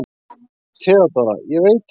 THEODÓRA: Ég veit það ekki.